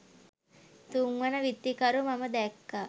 තුන්වන විත්තිකරු මම දැක්කා